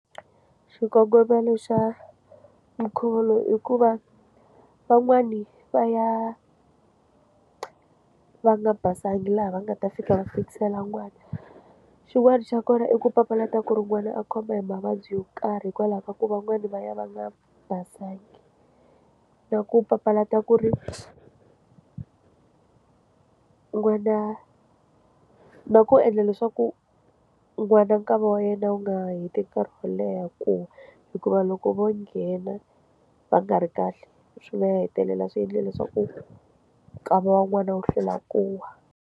Xikongomelo xa nkhuvulo hikuva van'wani va ya va nga basanga laha va nga ta fika va fikisela n'wana xin'wana xa kona i ku papalata ku ri n'wana a khoma hi mavabyi yo karhi hikwalaho ka ku van'wani va ya va nga basanga na ku papalata ku ri n'wana na ku endla leswaku n'wana nkava wa yena wu nga heti nkarhi wo leha ku hikuva loko vo nghena va nga ri kahle swi nga hetelela swi endle leswaku nkava wa n'wana wo hlwela ku wa.